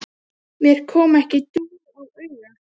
Mér kom ekki dúr á auga.